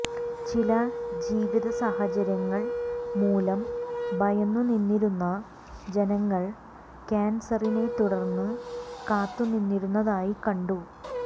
ചില ജീവിതസാഹചര്യങ്ങൾ മൂലം ഭയന്നു നിന്നിരുന്ന ജനങ്ങൾ കാൻസറിനെത്തുടർന്നു കാത്തു നിന്നിരുന്നതായി കണ്ടു